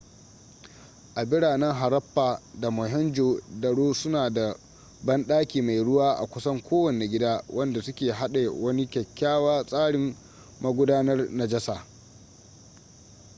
biranen harappa da mohenjo-daro suna da banɗaki mai ruwa a kusan kowane gida wanda su ke haɗe wani kyakkyawa tsarin magudanar najasa